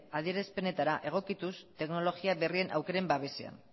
adierazpenetara egokituz teknologia berrien aukeren babesean